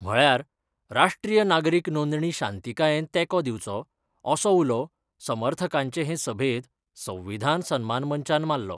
म्हळ्यार राष्ट्रीय नागरिक नोंदणी शांतीकायेन तेको दिवचो, असो उलो समर्थकांचे हे सभेत संविधान सन्मान मंचान माल्लो.